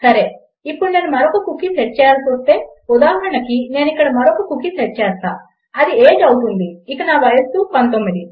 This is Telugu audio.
సరే ఇప్పుడు నేను మరొక కుకీ సెట్ చేయాల్సి వస్తే ఉదాహరణకు నేను ఇక్కడ మరొక కుకీ సెట్ చేస్తాను అది ఏజీఇ అవుతుంది ఇక నా వయస్సు 19